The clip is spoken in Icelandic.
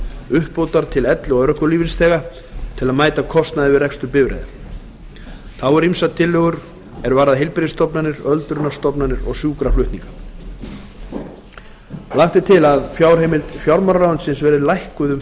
uppbótar til elli og örorkulífeyrisþega til að mæta kostnaði við rekstur bifreiða þá eru einnig ýmsar tillögur er varða heilbrigðisstofnanir öldrunarstofnanir og sjúkraflutninga lagt er til að fjárheimild fjármálaráðuneytis verði lækkuð um